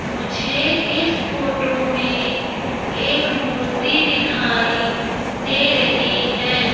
मुझे इस फोटो में एक मूर्ति दिखाई दे रही है।